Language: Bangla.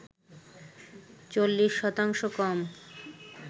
৪০ শতাংশ কম